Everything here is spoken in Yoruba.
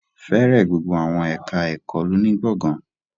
Fẹ́rẹ̀ gbogbo àwọn ẹ̀ká ẹ̀kọ́ lọ ní gbọ̀gán